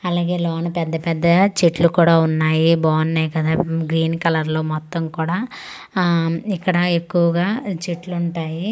అలాగే లోన పెద్ద పెద్ద చెట్లు కూడా ఉన్నాయి బావున్నాయి కదా గ్రీన్ కలర్లో మొత్తం కూడా ఇక్కడ ఎక్కువగా చెట్లుంటాయి.